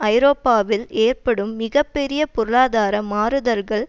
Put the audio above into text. ஐரோப்பாவில் ஏற்படும் மிக பெரிய பொருளாதார மாறுதல்கள்